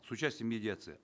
с участием медиации